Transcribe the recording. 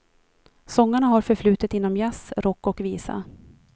Sångarna har förflutet inom jazz, rock och visa.